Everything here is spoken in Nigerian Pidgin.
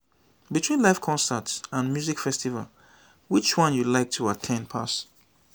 between live concert and music festival which one you like to at ten d pass.